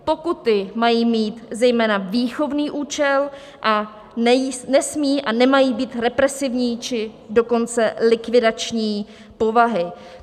Pokuty mají mít zejména výchovný účel a nesmí a nemají být represivní, či dokonce likvidační povahy.